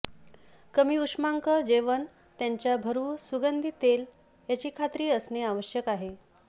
कमी उष्मांक जेवण त्यांच्या भरवू सुगंधी तेल याची खात्री असणे आवश्यक आहे